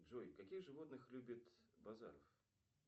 джой каких животных любит базаров